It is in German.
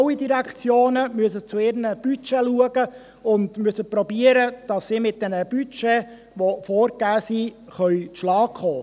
alle Direktionen müssen zu ihren Budgets Sorge tragen und müssen versuchen, mit ihren vorgegebenen Budgets klarzukommen.